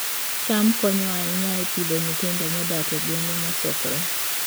cham konyo ahinya e Pidhoo nyithindo modak e gwenge mosokore